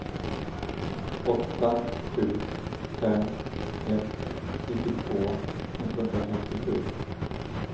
åtta sju fem ett nittiotvå etthundrafemtiosju